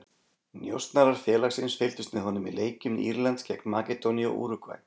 Njósnarar félagsins fylgdust með honum í leikjum Írlands gegn Makedóníu og Úrúgvæ.